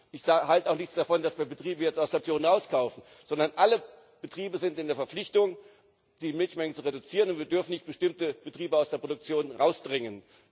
Ich halte auch nichts davon, dass wir Betriebe jetzt aus der Produktion herauskaufen, sondern alle Betriebe sind in der Verpflichtung, die Milchmenge zu reduzieren, und wir dürfen nicht bestimmte Betriebe aus der Produktion hinausdrängen.